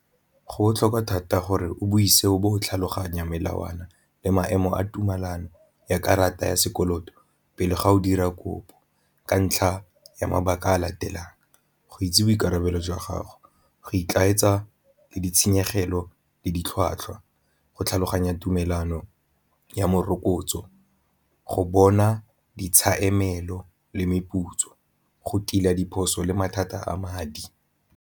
Go botlhokwa thata gore o buise o bo o tlhaloganya melawana le maemo a tumelano ya karata ya sekoloto pele ga o dira kopo ka ntlha ya mabaka a latelang, go itse boikarabelo jwa gago, go le ditshenyegelo le ditlhwatlhwa go tlhaloganya tumelano ya morokotso, go bona le meputso, go tila diphoso le mathata a madi.